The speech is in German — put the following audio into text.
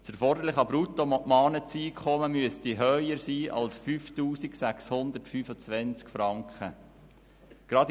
Das erforderliche Bruttomonatseinkommen müsste höher als 5625 Franken sein.